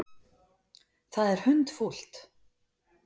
Það er hundfúlt.